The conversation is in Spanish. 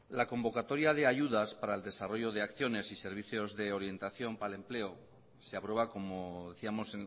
la convocatoria de ayudas para el desarrollo de acciones y servicios de orientación para el empleo se aprueba como decíamos